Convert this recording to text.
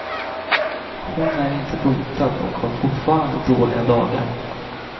Hon är inte botad och har fortfarande dåliga dagar.